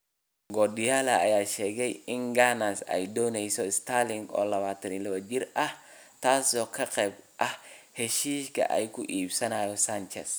Guardiola ayaa sheegay in Gunners ay doonayso Sterling, oo 22 jir ah, taasoo qayb ka ah heshiiska ay ku iibinayso Sanchez.